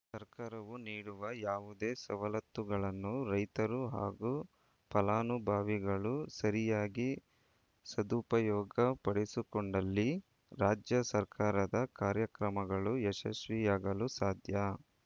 ಸರ್ಕಾರವು ನೀಡುವ ಯಾವುದೇ ಸವಲತ್ತುಗಳನ್ನು ರೈತರು ಹಾಗೂ ಫಲಾನುಭವಿಗಳು ಸರಿಯಾಗಿ ಸದುಪಯೋಪಡಿಸಿಕೊಂಡಲ್ಲಿ ರಾಜ್ಯ ಸರ್ಕಾರದ ಕಾರ್ಯಕ್ರಮಗಳು ಯಶಸ್ವಿಯಾಗಲು ಸಾಧ್ಯ